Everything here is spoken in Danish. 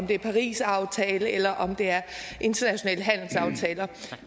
det er parisaftalen eller internationale handelsaftaler